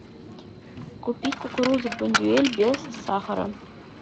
купить кукурузу бондюэль без сахара